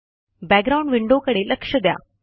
background window कडे लक्ष द्या